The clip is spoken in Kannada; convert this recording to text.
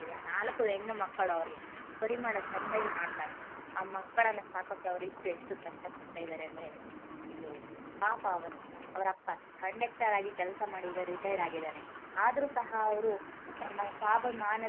ನಾಲಕ್ಕು ಹೆಣ್ಣು ಮಕ್ಕಳು ಅವರಿಗೆ ಪರಿಮಳ ಚೆಂದಾಗಿ ಮಾಡ್ತಾಳೆ ಆ ಮಕ್ಕಳನ್ನು ಸಾಕೋಕೆ ಅವರಿಬ್ಬರು ಎಷ್ಟು ಕಷ್ಟ ಪಡ್ತಾ ಇದ್ದಾರೆ ಅಂದ್ರೆ ಅಯ್ಯೋ ಪಾಪ ಅವನು ಅವರಪ್ಪ ಕಂಡೇಕ್ಟರ್ ಆಗಿ ಕೆಲಸ ಮಾಡಿ ಈಗ retired ಆಗಿದ್ದಾನೆ ಆದರೂ ಸಹ ಅವರು ತಮ್ಮ ಸ್ವಾಭಿಮಾನತೆ.